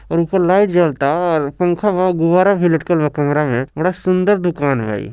और ऊपर लाइट जलता और पंखा बा गुब्बारा भी लटकल बा कैमरा मे बड़ा सुंदर दुकान हए।